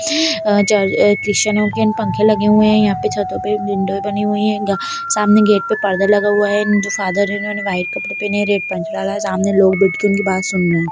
या चर क्रिस्टिआनो के इन पंखे लगे हुए हैं यहाँ छतो पे बनी हुई हैं ग सामने गेट पपरदा लगा हुआ है जो फादर हैं जिन्होंने वाइट कपड़े पहने हैं रेड पैंट डाला हुआ है सामने लोग बैठके उनकी बात सुन रहे हैं।